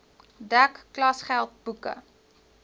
dek klasgeld boeke